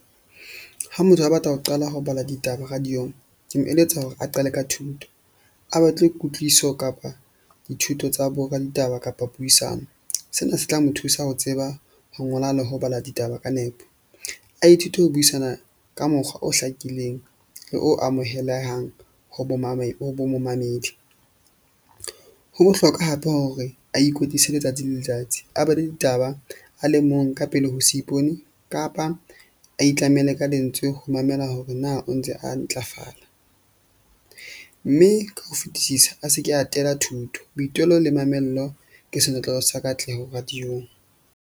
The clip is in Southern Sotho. Ha motho a batla ho qala ho bala ditaba radio-ng ke mo eletsa hore a qale ka thuto. A batle kutlwiso kapa dithuto tsa bo raditaba kapa puisano. Sena se tla mo thusa ho tseba, ho ngola le ho bala ditaba ka nepo. A ithute ho buisana ka mokgwa o hlakileng le o amohelehang ho bo momamedi. Ho bohlokwa hape hore a ikwetlise letsatsi le letsatsi a bale ditaba a le mong ka pele ho se ipone kapa a itlamele ka lentswe ho mamela hore na o ntse a ntlafala. Mme ka ho fetisisa, a se ke atela thuto. Boitelo le mamello ke senotlolo sa katleho radio-ng.